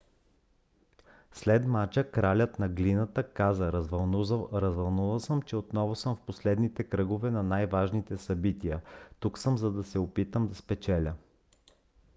след мача кралят на глината каза: развълнуван съм че отново съм в последните кръгове на най-важните събития. тук съм за да се опитам да спечеля